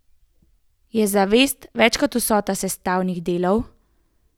Je zavest več kot vsota sestavnih delov?